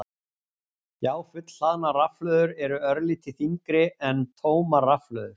Já, fullhlaðnar rafhlöður eru örlítið þyngri en tómar rafhlöður.